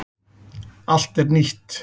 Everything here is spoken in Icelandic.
Allt er nýtt.